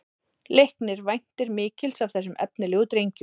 Leiknir væntir mikils af þessum efnilegu drengjum